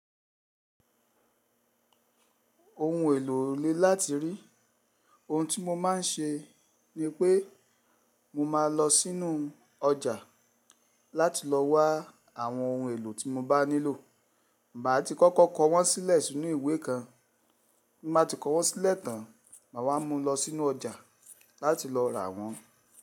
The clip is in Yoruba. Ohun èlò le láti rí. Ohun tí mo má n ṣe ni pé mo máa n lọ sínú ọjà láti lọ wá àwọn ohun èlò tí mo bá nílò. Màá ti kọ́kọ́ kọ wọn sílẹ̀ sínú ìwé kan, bí mbá ti kọ́ wọn sílẹ̀ tán, màá wá mú wọn lọ sínú ọjà láti lọ rà wọ́n.